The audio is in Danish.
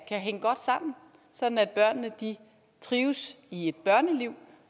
hænge godt sammen sådan at børnene trives i et børneliv